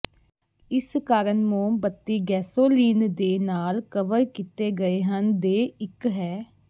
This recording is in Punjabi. ਇਸ ਕਾਰਨ ਮੋਮਬੱਤੀ ਗੈਸੋਲੀਨ ਦੇ ਨਾਲ ਕਵਰ ਕੀਤੇ ਗਏ ਹਨ ਦੇ ਇੱਕ ਹੈ